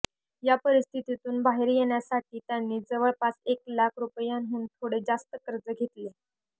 या परिस्थितीतून बाहेर येण्यासाठी त्यांनी जवळपास एक लाख रुपयांहून थोडे जास्त कर्ज घेतले